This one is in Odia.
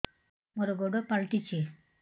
ମୋର ଗୋଡ଼ ପାଲଟିଛି